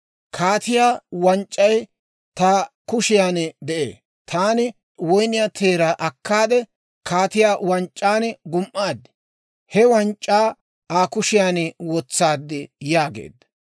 Kaatiyaa wanc'c'ay ta kushiyaan de'ee; taani woyniyaa teeraa akkaade, kaatiyaa wanc'c'an gum"aade, he wanc'c'aa Aa kushiyaan wotsaad» yaageedda.